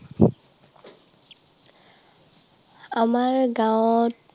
আমাৰ গাঁৱত